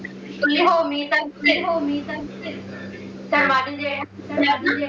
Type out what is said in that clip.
बोले हो मी तर माझे जे आहे